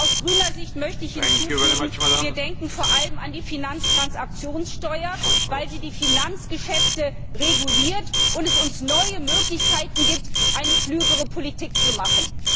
Aus grüner Sicht möchte ich hinzufügen Wir denken vor allem an die Finanztransaktionssteuer, weil sie die Finanzgeschäfte reguliert und uns neue Möglichkeiten gibt, eine klügere Politik zu machen.